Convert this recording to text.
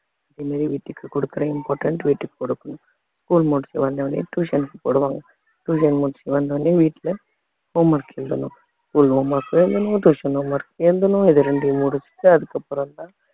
அதே மாதிரி வீட்டுக்கு கொடுக்கிற important வீட்டுக்கு கொடுக்கணும் school முடிச்சுட்டு வந்த உடனே tuition க்கு போடுவாங்க tuition முடிச்சுட்டு வந்த உடனே வீட்டுல home work எழுதணும் school home work எழுதணும் tuition home work இது ரெண்டையும் முடிச்சிட்டு அதுக்கப்புறம்தான்